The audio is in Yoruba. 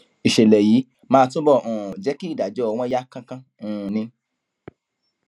ìṣẹlẹ yìí máa túbọ um jẹ kí ìdájọ wọn yá kánkán um ni